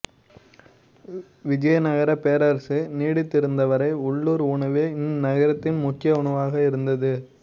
விஜயநகரப் பேரரசு நீடித்திருந்த வரை உள்ளூர் உணவே இந்நகரத்தின் முக்கிய உணவாக இருந்தது